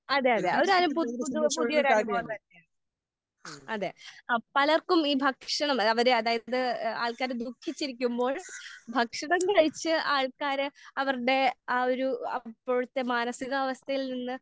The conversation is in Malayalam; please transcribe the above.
അതെ അതെ ഒരനുഭവം ഇപ്പോൾ പുതിയ പുതിയ ഒരനുഭവം തന്നെയാണ്. അതെ പലർക്കും ഈ ഭക്ഷണം അതായത് ആൾക്കാര് ദുഖിച്ചിരിക്കുമ്പോൾ ഭക്ഷണം കഴിച്ച് ആൾക്കാര് അവരുടെ ആഹ് ഒരു അപ്പോഴത്തെ മാനസിക അവസ്ഥയിൽ നിന്ന്